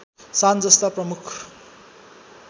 सान जस्ता प्रमुख